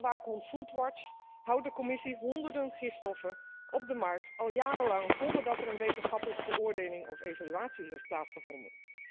Volgens voedselwaakhond Foodwatch houdt de Commissie honderden gifstoffen op de markt, al jarenlang, zonder dat er een wetenschappelijke beoordeling of evaluatie heeft plaatsgevonden.